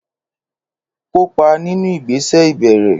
Kópa nínú ìgbésẹ̀ ìbẹ̀rẹ̀.